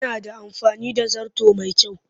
Yana da amfani da zarto mai kyau